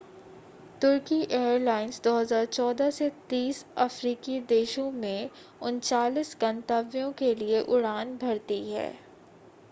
तुर्की airlines 2014 से 30 अफ़्रीकी देशों में 39 गंतव्यों के लिए उड़ान भरती है